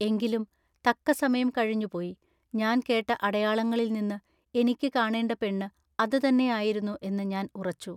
എങ്കിലും തക്കസമയംകഴിഞ്ഞുപോയി. ഞാൻ കേട്ട അടയാങ്ങളിൽനിന്നു ഇനിക്കു കാണെണ്ട പെണ്ണു അതു തന്നെയായിരുന്നു എന്നു ഞാൻ ഉറച്ചു.